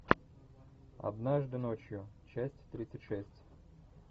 однажды ночью часть тридцать шесть